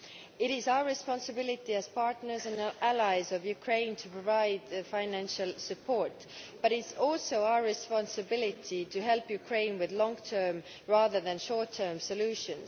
It is our responsibility, as partners and allies of Ukraine, to provide financial support but it is also our responsibility to help Ukraine with long term rather than short term solutions.